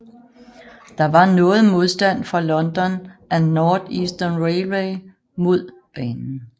Der var noget modstand fra London and North Eastern Railway mod banen